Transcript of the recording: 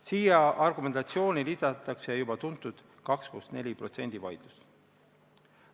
Sellesse argumentatsiooni lisatakse juba tuntud 2 + 4 protsendi vaidlus.